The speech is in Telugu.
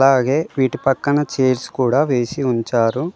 అలాగే వీటి పక్కన చైర్స్ కూడా వేసి ఉంచారు.